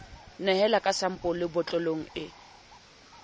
nehela ka sampole botlolong e